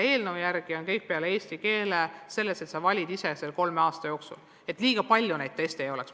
Eelnõu järgi on kõik ained peale eesti keele sellised, et kool valib need ise selle kolme aasta jooksul, jälgides, et teste liiga palju ei oleks.